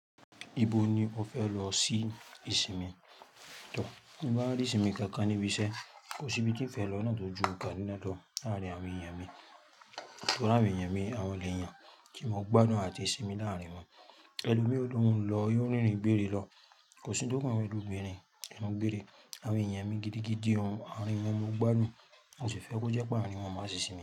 Ibo ni o fẹ lọ sí ìsinmi? To, mo máa rí ìsinmi kankan níbi ṣé. Kò síbi tí n fẹ lọ náà tò ju Kaduna lọ láàrin àwọn èèyàn mi. So ri awon èèyàn mi, àwọn leeyan tí mo gbadun àti sinmi láàrin wọn. Ẹlòmí ó lohub lọ yii o rinrin gbere lọ, kò sí n to mi ju obìnrin enu gbere. Àwọn èèyàn mi gidigidi hun, awọn yen mo gbadun. Mo sì fẹ́ kó jẹ́ pe aarin awon máa ti sinmi.